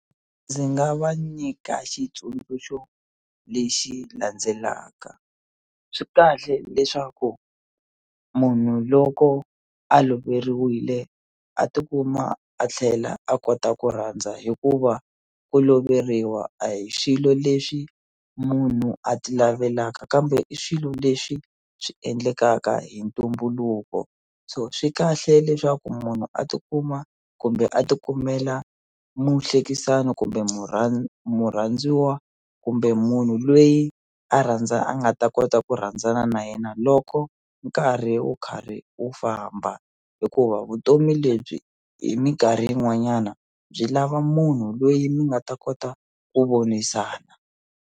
Ndzi nga va nyika xitsundzuxo lexi landzelaka swi kahle leswaku munhu loko a loveriwile a tikuma a tlhela a kota ku rhandza hikuva ku loveriwa a hi xilo lexi munhu a ti laveka kambe i swilo leswi swi endlekaka hi ntumbuluko so swi kahle leswaku munhu a tikuma kumbe a ti kumela muhlekisani kumbe murhandziwa kumbe munhu lweyi a a nga ta kota ku rhandzana na yena loko nkarhi wu karhi wu famba hikuva vutomi lebyi hi minkarhi yin'wanyana byi lava munhu loyi mi nga ta kota ku vonisana.